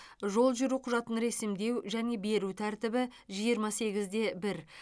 жол жүру құжатын ресімдеу және беру тәртібі жиырма сегіз де бір